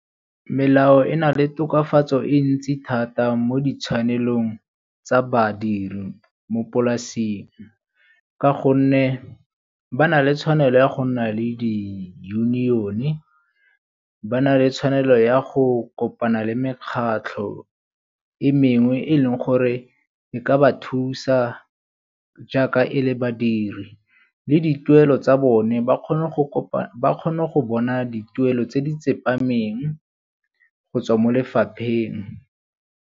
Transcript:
Melao e na le tokafatso e ntsi thata mo di tshwanelong tsa badiri mo polasing ka gonne ba na le tshwanelo ya go nna le di-union-e, ba na le tshwanelo ya go kopana le mekgatlho e mengwe e leng gore e ka ba thusa jaaka e le badiri. Le dituelo tsa bone ba kgone go bona dituelo tse di tsepameng go tswa mo lefapheng.